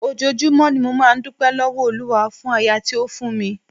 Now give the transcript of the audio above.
Ojoojúmọ́ ni mo máa ń dúpẹ́ lọ́wọ́ Olúwa fún aya tí ó fún mi.